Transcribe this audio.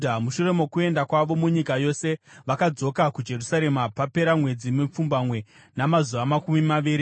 Mushure mokuenda kwavo munyika yose, vakadzoka kuJerusarema papera mwedzi mipfumbamwe namazuva makumi maviri.